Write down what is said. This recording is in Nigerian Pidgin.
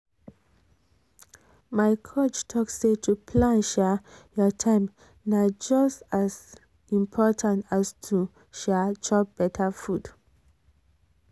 my coach talk say to plan um your time na just as just as important as to um chop better food. um